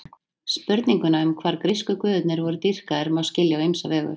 Spurninguna um hvar grísku guðirnir voru dýrkaðir má skilja á ýmsa vegu.